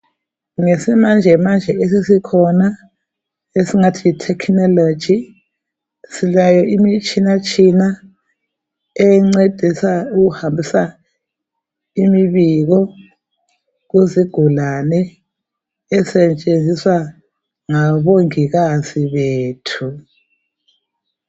Ngesimanjemanje esesikhona, esingathi yitechnology. Silayo imitshinatshina, encedisa ukuhambisa imibiko kuzigulane. Esetshenziswa, ngabongikazi bethu.